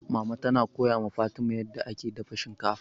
Mama tana koya ma Fatima yanda ake dafa shinkafa.